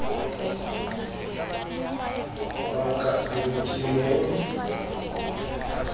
wa ka eo ke mo